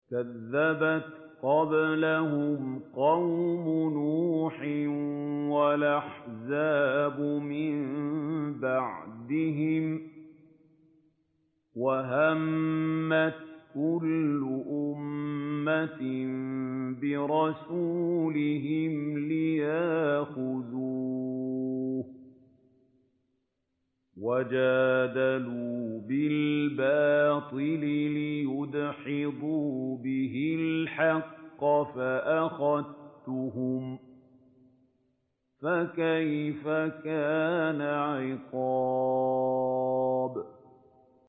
كَذَّبَتْ قَبْلَهُمْ قَوْمُ نُوحٍ وَالْأَحْزَابُ مِن بَعْدِهِمْ ۖ وَهَمَّتْ كُلُّ أُمَّةٍ بِرَسُولِهِمْ لِيَأْخُذُوهُ ۖ وَجَادَلُوا بِالْبَاطِلِ لِيُدْحِضُوا بِهِ الْحَقَّ فَأَخَذْتُهُمْ ۖ فَكَيْفَ كَانَ عِقَابِ